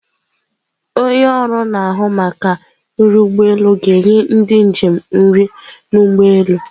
Onye ọrụ na-ahụ maka nri ụgbọ elu ga-enye ndị njem nri n'ụgbọelu.